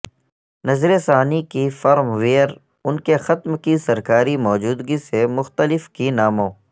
نظر ثانی کی فرم ویئر ان کے ختم کی سرکاری موجودگی سے مختلف کے ناموں